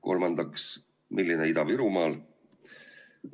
Kolmandaks, milline Ida-Virumaal?